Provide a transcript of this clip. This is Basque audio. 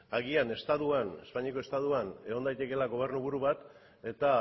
agian estatuan espainiako estatuan egon daitekeela gobernuburu bat eta